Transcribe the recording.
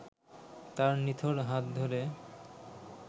তার নিথর হাত ধরে